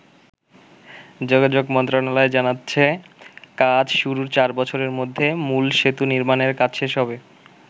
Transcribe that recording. যোগাযোগ মন্ত্রণালয় জানাচ্ছে, কাজ শুরুর চার বছরের মধ্যে মূল সেতু নির্মাণের কাজ শেষ হবে।